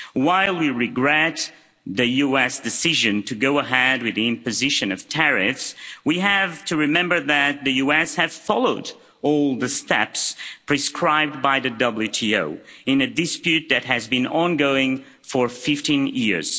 While we regret the US decision to go ahead with the imposition of tariffs, we have to remember that the US have followed all the steps prescribed by the WTO in a dispute that has been ongoing for 15 years.